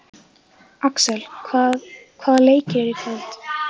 Axel, hvaða leikir eru í kvöld?